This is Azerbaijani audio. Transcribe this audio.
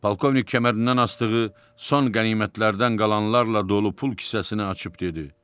Polkovnik kəmərindən asdığı son qənimətlərdən qalanlarla dolu pul kisəsini açıb dedi: